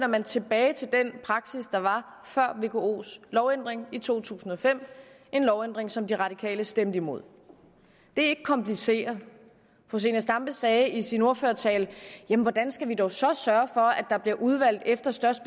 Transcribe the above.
man tilbage til den praksis der var før vkos lovændring i to tusind og fem en lovændring som de radikale stemte imod det er ikke kompliceret fru zenia stampe sagde i sin ordførertale jamen hvordan skal vi dog så sørge for at der bliver udvalgt efter størst